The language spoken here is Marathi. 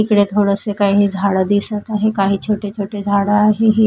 इकडे थोडसे काही झाड दिसत आहे काही छोटे छोटे झाड आहे हे.